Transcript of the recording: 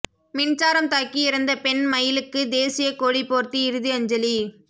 மின்சாரம் தாக்கி இறந்த பெண் மயிலுக்கு தேசியக் கொடி போர்த்தி இறுதி அஞ்சலி